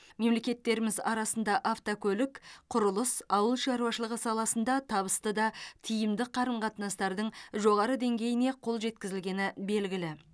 мемлекеттеріміз арасында автокөлік құрылыс ауыл шаруашылығы саласында табысты да тиімді қарым қатынастардың жоғары деңгейіне қол жеткізілгені белгілі